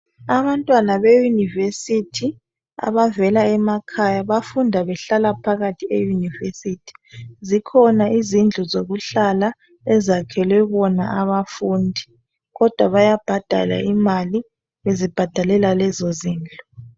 Abantwana beyunivesithi abavela emakhaya bafunda behlala phakathi eyunivesithi zikhona izindlu zokuhlala ezakhelwe abafundi kodwa bayabhadala imali bezibhadalela lezo zindlu.